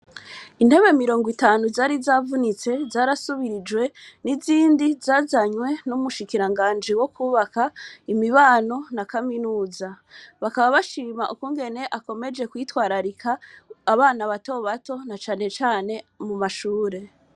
Intebe mirongo itanu zarizavunitse, zarasubirijwe n’izindi zazanywe n’umushikiranganji wo kwubaka, imibano na kaminuza. Bakaba bashima ukungene akomeje kwitwararika abana bato bato, na cane cane mu mashure.